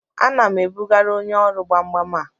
Ana m ebugara onye ọrụ gbam gbam a